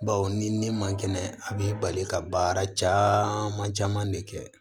Baw ni ne man kɛnɛ a b'i bali ka baara caman caman de kɛ